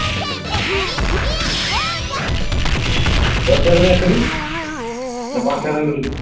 দশ টাকা দামের একটা দি না পাঁচ টাকা দামের দুটো দেব?